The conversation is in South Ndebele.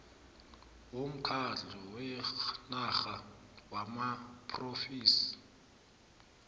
womkhandlu wenarha wamaphrovinsi